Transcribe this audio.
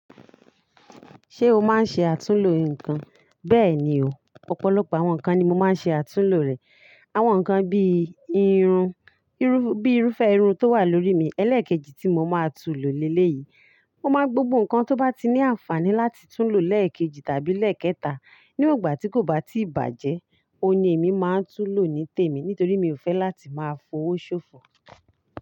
Ṣé o máa ń ṣe àtúnlo nǹkan? Bẹ́ẹ̀ni o, ọ̀pọ̀lọpọ̀ àwọn nǹkan ni mo máa ń ṣe àtúnlo rẹ̀. Àwọn nǹkan bí i irun, bíi irúfẹ́ irun tó wà lórí mi, ẹlẹ́ẹ̀kejì tí mo máa tú lò lélẹ̀ yìí. Mo máa ń gbogbo nǹkan tó bá ní àǹfààní láti tún lò lẹ́ẹ̀kejì tàbí lẹ́ẹ̀kẹta nígbà tí kò bá tíì bàjẹ́. Óun ni èmi máa ń tún lò ní tèmi nítorí mi ò fẹ́ láti máa fowó ṣòfò.